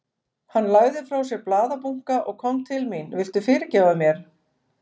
Hann lagði frá sér blaðabunka og kom til mín. Viltu fyrirgefa mér?